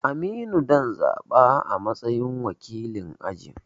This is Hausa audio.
Aminu zan zaɓa a matsayin wakilin aji